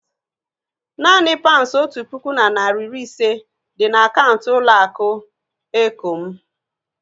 Naanị paunds otu puku na narị iri ise dị na akaụntụ ụlọ akụ eko m